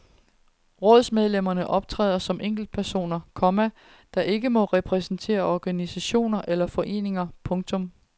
Rådsmedlemmerne optræder som enkeltpersoner, komma der ikke må repræsentere organisationer eller foreninger. punktum